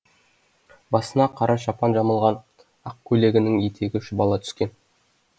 басына қара шапан жамылған ақ көйлегінің етегі шұбала түскен